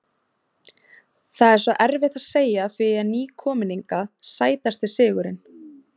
Það er svo erfitt að segja því ég er ný kominn hingað Sætasti sigurinn?